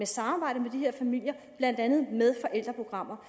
samarbejdet med de her familier blandt andet med forældreprogrammer